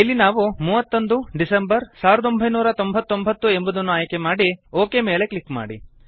ಇಲ್ಲಿ ನಾವು 31 ಡೆಕ್ 1999 ಎಂಬುದನ್ನು ಆಯ್ಕೆಮಾಡಿ ಒಕ್ ಮೇಲೆ ಕ್ಲಿಕ್ ಮಾಡಿ